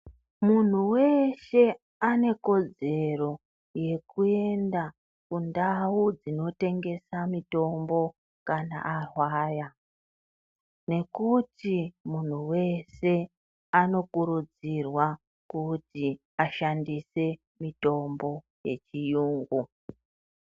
Munhu weshe ane kodzero yekuenda mundau dzinotengeswa mitombo kana arwara nekuti munhu wese anokurudzirwa kuti ashandise mitombo yechiyungu .